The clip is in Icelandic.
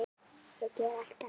Ég geri allt annað.